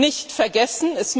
nicht vergessen.